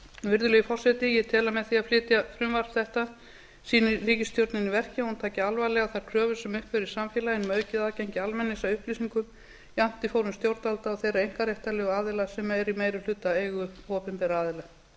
virðulegi forseti ég tel að með því að flytja frumvarp þetta sýni ríkisstjórnin í verki að hún taki alvarlega þær kröfur sem uppi eru í samfélaginu um aukið aðgengi almennings að upplýsingum jafnt í fórum stjórnvalda og þeirra einkaréttarlegu aðila sem eru í meirihlutaeigu opinberra aðila